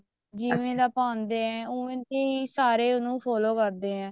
ਜਿਵੇਂ ਦਾ ਪਾਉਂਦੇ ਆ ਉਵੇਂ ਦਾ ਸਾਰੇ ਉਹਨੂੰ follow ਕਰਦੇ ਆ